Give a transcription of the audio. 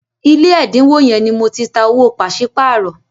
ilé ẹdinwo yén ní Mọ tí tá owó paṣipaarọ